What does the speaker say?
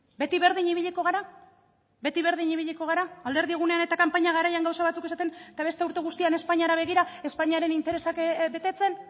beti berdin ibiliko gara alderdi egunean eta kanpaina garaian gauza batzuk esaten eta beste urte guztian espainiari begira espainiaren interesak betetzen